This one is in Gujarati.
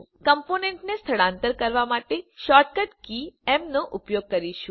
આપણે કમ્પોનન્ટોને સ્થળાંતર કરવા માટે શૉર્ટકટ કી એમ નો ઉપયોગ કરીશું